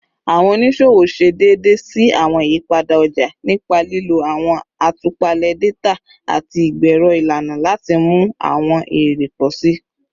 Awọn oniṣowo ṣe deede si awọn iyipada ọja nipa lilo awọn atupale data ati igbero ilana lati mu awọn ere pọ si.